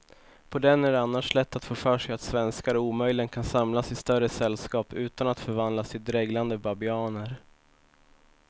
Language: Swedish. På den är det annars lätt att få för sig att svenskar omöjligen kan samlas i större sällskap utan att förvandlas till dreglande babianer.